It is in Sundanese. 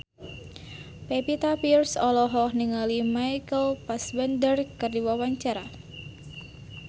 Pevita Pearce olohok ningali Michael Fassbender keur diwawancara